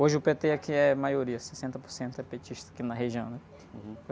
Hoje o pê-tê aqui é maioria, sessenta por cento é petista aqui na região, né?